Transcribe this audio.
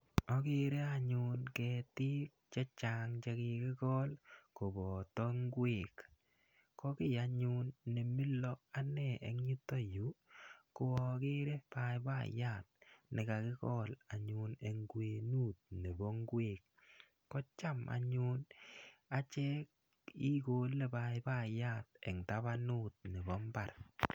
Agere anyun che chang' che kikikol kopata ngwek. Ko ki anyun ne mila ane eng' yutayu ko akere paipayat ne kakikol anyun eng' kwenut nepo ngwek. Ko cham anyun achek ikole paipayat eng' tapanut nepo mbar.